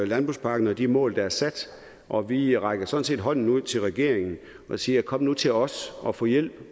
landbrugspakken og de mål der er sat og vi rækker sådan set hånden ud til regeringen og siger kom nu til os og få hjælp